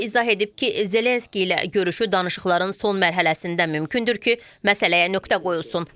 O izah edib ki, Zelenski ilə görüşü danışıqların son mərhələsində mümkündür ki, məsələyə nöqtə qoyulsun.